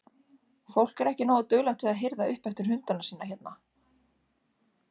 Fólk er ekki nógu duglegt við að hirða upp eftir hundana sína hérna?